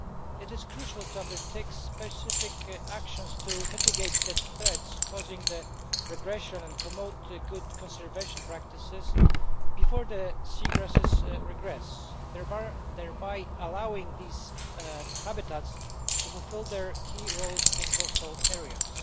It is crucial to undertake specific actions to mitigate the threats causing the regression and promote good conservation practices before the seagrasses regress, thereby allowing these habitats to fulfil their key roles in coastal areas.